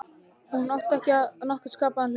Hún átti ekki við nokkurn skapaðan hlut.